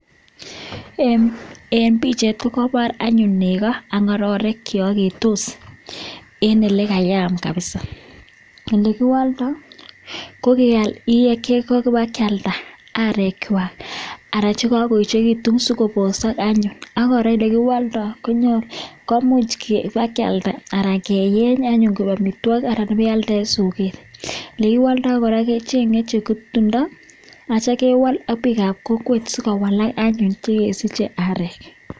Eng pichait kokepaar negoo anan ko ngororeek chemiten koaeketos eng ole kayaaam misssing kiwaldai kealdai kopa sogeek anan kewal ak oiik ap kokweet